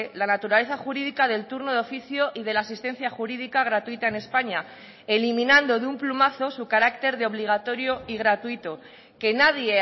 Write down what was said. la naturaleza jurídica del turno de oficio y de la asistencia jurídica gratuita en españa eliminando de un plumazo su carácter de obligatorio y gratuito que nadie